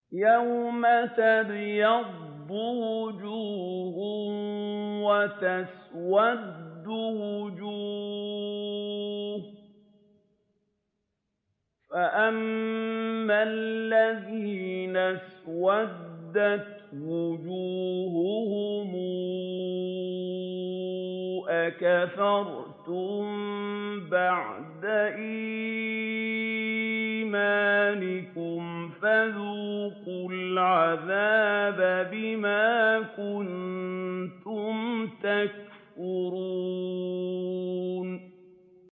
يَوْمَ تَبْيَضُّ وُجُوهٌ وَتَسْوَدُّ وُجُوهٌ ۚ فَأَمَّا الَّذِينَ اسْوَدَّتْ وُجُوهُهُمْ أَكَفَرْتُم بَعْدَ إِيمَانِكُمْ فَذُوقُوا الْعَذَابَ بِمَا كُنتُمْ تَكْفُرُونَ